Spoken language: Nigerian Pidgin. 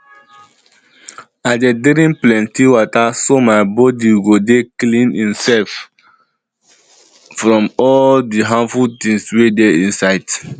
i dey drink plenty water so my body go dey clean imsef from all di harmful things wey dey inside